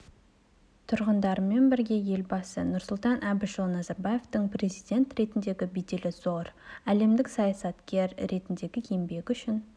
тұрғындарымен бірге елбасы нұрсұлтан әбішұлы назарбаевтың президент ретіндегі беделі зор әлемдік саясаткер ретіндегі еңбегі үшін